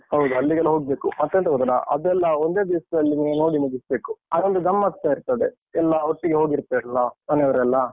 ಹೌದು. ಅಲ್ಲಿಗೆಲ್ಲ ಹೋಗ್ಬೇಕು. ಮತ್ತೆಂತ ಗೊತ್ತುಂಟ? ಅದೆಲ್ಲ ಒಂದೇ ದಿವ್ಸದಲ್ಲಿ ನೀವು ನೋಡಿ ಮುಗಿಸ್ಬೇಕು. ಅದೊಂದ್ ಗಮ್ಮತ್ತ್ಸ ಇರ್ತದೆ. ಎಲ್ಲ ಒಟ್ಟಿಗೆ ಹೋಗಿರ್ತೇವಲ್ಲ? ಮನೆಯವರೆಲ್ಲ?